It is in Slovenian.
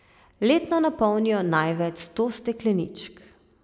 Letno napolnijo največ sto stekleničk.